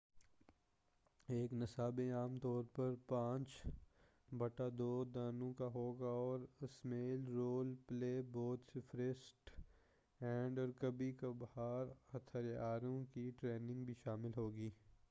ایک نصاب عام طور پر 2-5 دنوں کا ہوگا اور اسمیں رول پلے بہت سے فرسٹ ایڈ اور کبھی کبھار ہتھیاروں کی ٹریننگ بھی شامل ہوگی